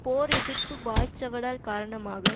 போர் எதிர்ப்பு வாய்ச்சவடால் காரணமாக